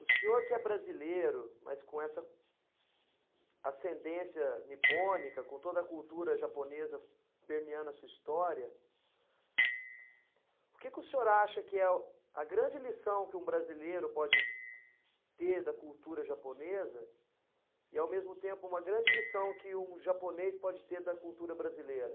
O senhor que é brasileiro, mas com essa ascendência nipônica, com toda a cultura japonesa permeando a sua história, o que que o senhor acha que é a grande lição que um brasileiro pode ter da cultura japonesa e, ao mesmo tempo, uma grande lição que um japonês pode ter da cultura brasileira?